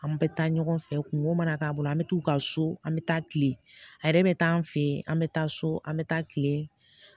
An bɛ taa ɲɔgɔn fɛ kunko mana k'a bolo an bɛ taa u ka so an bɛ taa kile a yɛrɛ bɛ taa an fɛ yen an bɛ taa so an bɛ taa kile